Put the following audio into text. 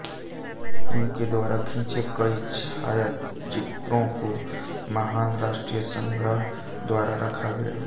उनके द्वारा खिंचे कई छायाचित्रों को महान राष्ट्रीय संग्रह द्वारा रखा गया है